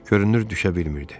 Görünür düşə bilmirdi.